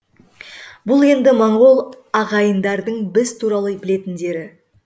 бұл енді моңғол ағайындардың біз туралы білетіндері